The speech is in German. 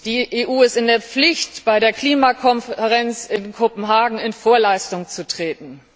Die EU ist in der Pflicht, bei der Klimakonferenz in Kopenhagen in Vorleistung zu treten.